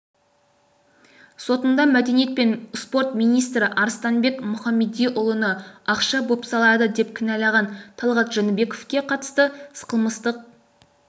сотында мәдениет және спорт министрі арыстанбек мұхамедиұлыны ақша бопсалады деп кінәлаған талғат жәнібековке қатысты қылмыстық